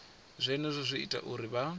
zwenezwo zwi ita uri vha